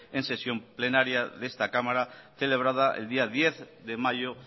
en sesión plenaria de esta cámara celebrada el día diez de mayo